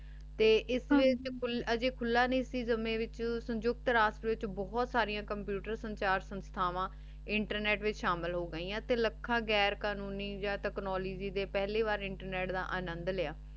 ਤੇ ਏਸ ਵਿਚ ਕੁਲ ਅਜੇ ਖੁਲਾ ਨਾਈ ਸੀ ਸਮੇ ਵੀ ਸੰਜੁਕਤ ਰਾਸ ਚ ਬੋਹਤ ਸਰਿਯਾਂ computer ਸੰਚਾਰ ਸੰਸਥਾਵਾਂ internet ਵਿਚ ਸ਼ਾਮਿਲ ਹੋਗੈਯਾਂ ਅਤੀ ਲਖਾਂ ਗੈਰ ਕ਼ਾਨੂਨੀ ਯਾ ਤੇਚ੍ਨੂਗ੍ਯ ਡੀ ਪਹਲੀ ਵਾਰ ਇੰਟਰਨੇਟ ਦਾ ਅਨੰਦੁ ਲਾਯਾ